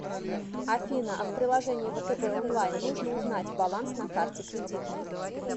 афина а в приложении втб онлайн нужно узнать баланс на карте кредитной